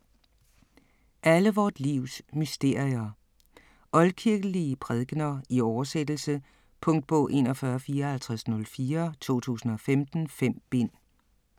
Alle vort livs mysterier Oldkirkelige prædikener i oversættelse. Punktbog 415404 2015. 5 bind.